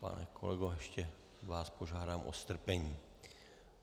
Pane kolego, ještě vás požádám o strpení.